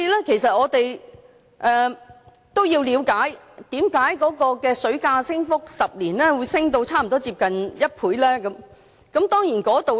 其實，我們都要了解為何10年來的水價會有差不多1倍的升幅。